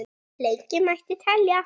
Lengi mætti telja.